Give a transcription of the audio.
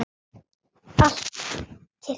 Allt kyrrt.